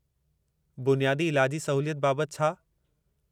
बुनियादी इलाजी सहूलियत बाबत छा?